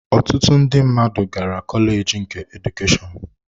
Ọtụtụ ndị mmadụ gara kọleji nke Edukeshọn